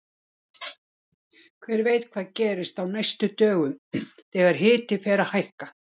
Hver veit hvað gerist á næstu dögum þegar hiti fer að hækka!